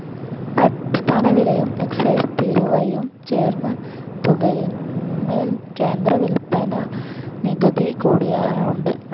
അടിസ്ഥാനവിലയും excise തീരുവയും ചേർന്ന തുകയിന്മേൽ കേന്ദ്ര വിൽപ്പനനികുതികൂടിയുണ്ട്.